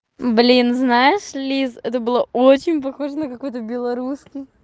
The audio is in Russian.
блин знаешь лиза это было очень похоже на какой-то белорусский